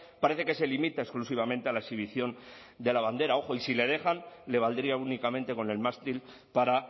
parece que se limita exclusivamente a la exhibición de la bandera ojo y si le dejan le valdría únicamente con el mástil para